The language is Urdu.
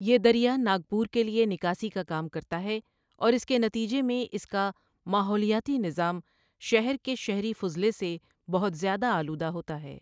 یہ دریا ناگپور کے لیے نکاسی کا کام کرتا ہے اور اس کے نتیجے میں اس کا ماحولیاتی نظام شہر کے شہری فضلے سے بہت زیادہ آلودہ ہوتا ہے۔